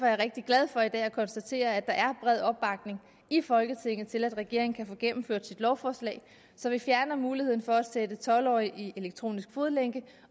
jeg rigtig glad for i dag at konstatere at der er bred opbakning i folketinget til at regeringen kan få gennemført sit lovforslag så vi fjerner muligheden for at sætte tolv årige i elektronisk fodlænke